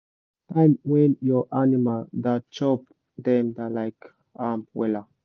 time when your animal da chop dem da like am wella